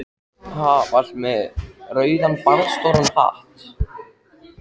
Ha, varstu með rauðan barðastóran hatt?